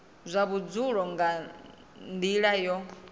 zwa vhudzulo nga nila yo